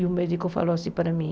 E o médico falou assim para mim,